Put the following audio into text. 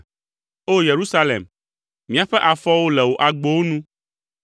O! Yerusalem, míaƒe afɔwo le wò agbowo nu.